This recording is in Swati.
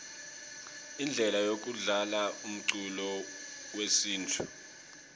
indlele yekudlalaumculo wesintfu